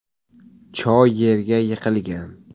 Cho yerga yiqilgan.